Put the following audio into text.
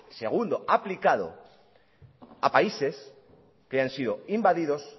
segundo aplicado a países que hayan sido invadidos